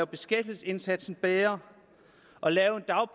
beskæftigelsesindsatsen bedre og lave